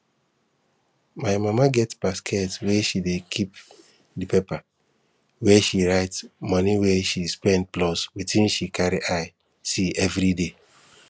my mama get basket wey she dey keep di paper where she write moni wey she spend plus wetin she carry eye see everiday